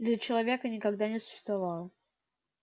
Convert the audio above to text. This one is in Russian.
для человека никогда не существовало